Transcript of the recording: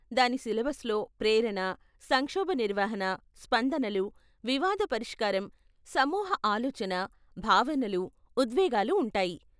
దాని సిలబస్లో ప్రేరణ, సంక్షోభ నిర్వహణ, స్పందనలు, వివాద పరిష్కారం, సమూహ ఆలోచన, భావనలు, ఉద్వేగాలు ఉంటాయి.